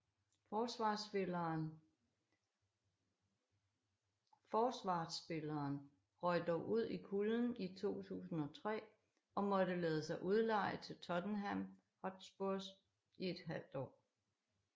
Forsvarsspilleren røg dog ud i kulden i 2003 og måtte lade sig udleje til Tottenham Hotspurs i et halvt år